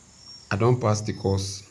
i don pass di course